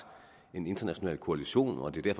en international koalition og det giver